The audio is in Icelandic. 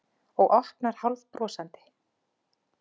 Og opnar hálfbrosandi.